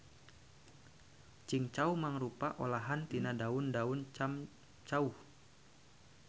Cingcau mangrupa olahan tina daun daun camcauh.